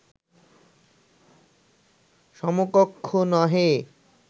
সমকক্ষ নহে